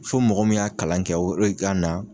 Fo mɔgɔ min y'a kalan kɛ o re ka na